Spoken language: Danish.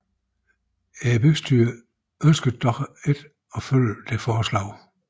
Bystyret ønskede dog ikke at følge dette forslag